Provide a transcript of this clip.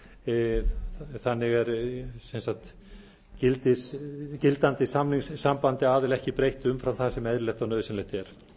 samningum sem eru í gildi þannig er gildandi samningssambandi aðila ekki breytt umfram það sem eðlilegt og nauðsynlegt er það